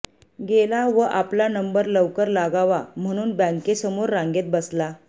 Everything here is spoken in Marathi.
गेला व आपला नंबर लवकर लागावा म्हणून बँकेसमोर रांगेत बसला